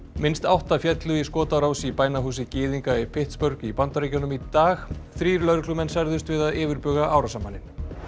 minnst átta féllu í skotárás í bænahúsi gyðinga í í Bandaríkjunum í dag þrír lögreglumenn særðust við að yfirbuga árásarmanninn